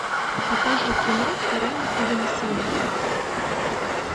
покажи кино карена оганесяна